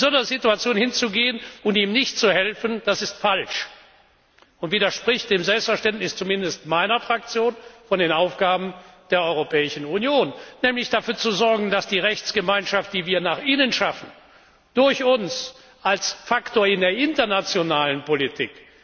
Ihm in so einer Situation nicht zu helfen, das ist falsch und widerspricht zumindest dem Selbstverständnis meiner Fraktion von den Aufgaben der Europäischen Union, nämlich dafür zu sorgen, dass die Rechtsgemeinschaft, die wir nach innen schaffen, durch uns als Faktor in die internationale Politik